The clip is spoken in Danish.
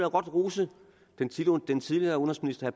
rose den tidligere udenrigsminister